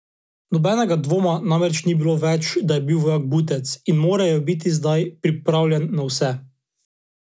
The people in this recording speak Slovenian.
Nobenega dvoma namreč ni bilo več, da je bil vojak butec, in moral je biti zdaj pripravljen na vse.